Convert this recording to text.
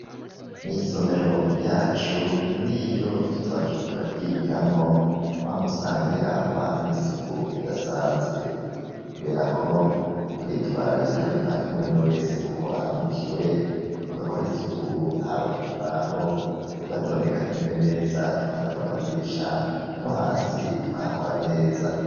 mw,isomero ryacu n'iyo tutaba turiko turaryigiramwo wama usanga rirangwa n'isuku ridasanzwe, kubera ko turitwararika bivanye n'umwe wese uko aramukiwe tugakora isuku haba kukibaho tugatondekanya intebe neza tugahanagura amadirisha no hasi tukahakora neza.